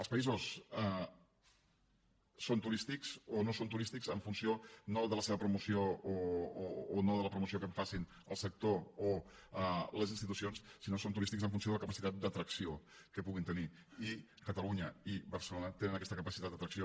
els països són turístics o no són turístics en funció no de la seva promoció o no de la promoció que en facin el sector o les institucions sinó que són turístics en funció de la capacitat d’atracció que puguin tenir i catalunya i barcelona tenen aquesta capacitat d’atracció